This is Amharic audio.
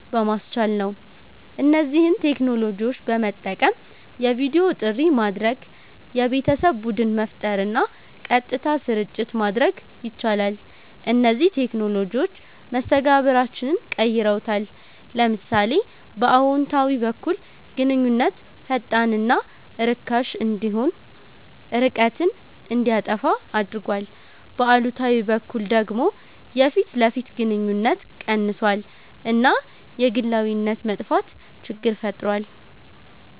በማስቻል ነው። እነዚህን ቴክኖሎጂዎች በመጠቀም የቪዲዮ ጥሪ ማድረግ፣ የቤተሰብ ቡድን መፍጠር እና ቀጥታ ስርጭት ማድረግ ይቻላል። እነዚህ ቴክኖሎጂዎች መስተጋብራችንን ቀይረውታል። ለምሳሌ በአዎንታዊ በኩል ግንኙነት ፈጣንና ርካሽ እንዲሆን፣ ርቀትን እንዲያጠፋ አድርጓል፤ በአሉታዊ በኩል ደግሞ የፊት ለፊት ግንኙነት ቀንሷል እና የግላዊነት መጥፋት ችግር ፈጥሯል።